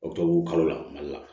O tɔ la mali la